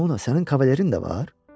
Ramona sənin kavalirin də var?